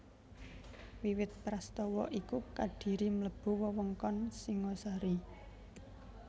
Wiwit prastawa iku Kadiri mlebu wewengkon Singhasari